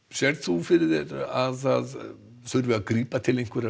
sérð þú fyrir þér að það þurfi að grípa til einhverra